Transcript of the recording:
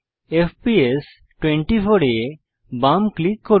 FPS 24 এ বাম click করুন